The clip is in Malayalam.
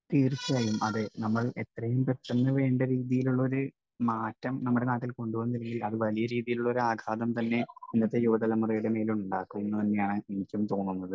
സ്പീക്കർ 1 തീർച്ചയായും അതെ. നമ്മൾ എത്രയും പെട്ടെന്ന് വേണ്ട രീതിയിലുള്ള ഒരു മാറ്റം നമ്മുടെ നാട്ടിൽ കൊണ്ടു വന്നില്ലെങ്കിൽ അത് വലിയ രീതിയിലുള്ള ഒരു ആഘാതം തന്നെ ഇന്നത്തെ യുവതലമുറയുടെ മേൽ ഉണ്ടാക്കുമെന്നു തന്നെയാണ് എനിക്കും തോന്നുന്നത്.